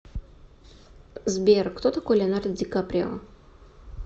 сбер кто такой леонардо ди каприо